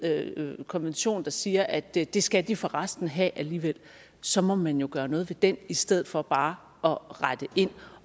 konvention der siger at det det skal de forresten have alligevel så må man jo gøre noget ved den i stedet for bare at rette ind